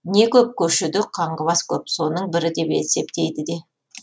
не көп көшеде қаңғыбас көп соның бірі деп есептейді де